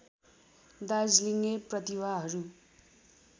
दार्जिलिङे प्रतिभाहरू